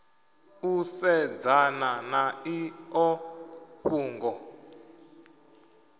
u sedzana na iḽo fhungo